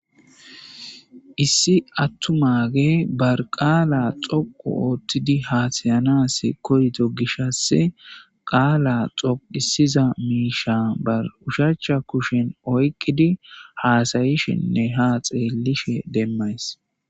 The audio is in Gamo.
Issi attumagge ba qala dhoqqu oththidi hasayanassi koyiddo gishshassi qaala dhoqqidiza mishshatta ba ushshachcha kuushshen oykkidi hasayishshinne ha xeelishin demayss.